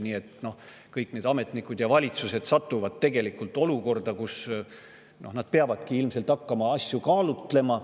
Nii et kõik ametnikud ja valitsused satuvad siis tegelikult olukorda, kus nad peavadki ilmselt hakkama asju kaaluma.